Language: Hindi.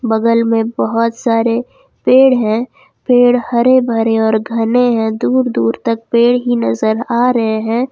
बगल में बहुत सारे पेड़ है पेड़ हरे भरे और घने है दूर दूर तक पेड़ ही नजर आ रहे हैं।